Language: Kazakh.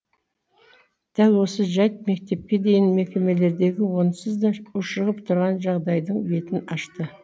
дәл осы жайт мектепке дейінгі мекемелердегі онсыз да ушығып тұрған жағдайдың бетін ашты